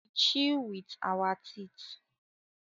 We chew food with our teeth